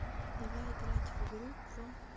давай играть в игру про